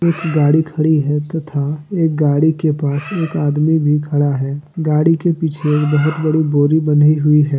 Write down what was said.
गाड़ी खड़ी है। तथा एक गाड़ी के पास एक आदमी भी खड़ा है। गाड़ी के पीछे एक बहुत बड़ी बोरी बँधी हुई है।